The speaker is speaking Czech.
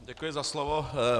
Děkuji za slovo.